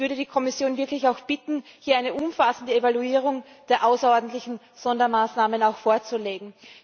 Ich möchte die Kommission wirklich bitten, hier eine umfassende Evaluierung der außerordentlichen Sondermaßnahmen vorzulegen.